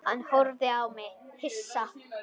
Hann horfði á mig hissa.